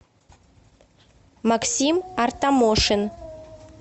максим артамошин